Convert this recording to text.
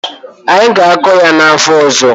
Anyị ga-akọ ya n'afọ ọzọ.